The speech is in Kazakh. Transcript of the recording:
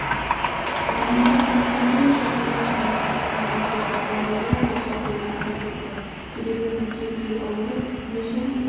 мамандар мүмкіндігінше таңдалған емхананың үйге жақын болуы дұрыс екенін атап өтті себебі үйде біреу ауырып өзін